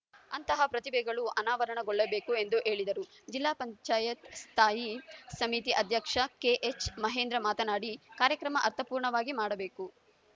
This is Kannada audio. ಅಂತಹ ಪ್ರತಿಭೆಗಳು ಅನಾವರಣಗೊಳ್ಳಬೇಕು ಎಂದು ಹೇಳಿದರು ಜಿಲ್ಲಾ ಪಂಚಾಯತ್ ಸ್ಥಾಯಿ ಸಮಿತಿ ಅಧ್ಯಕ್ಷ ಕೆಎಚ್‌ ಮಹೇಂದ್ರ ಮಾತನಾಡಿ ಕಾರ್ಯಕ್ರಮ ಅರ್ಥಪೂರ್ಣವಾಗಿ ಮಾಡಬೇಕು